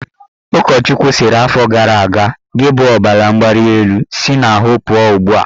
Ụkọchukwu sịrị afọ gara aga"Gị bụ ọbaramgbalịelu, si n'ahụ pụọ ugbua!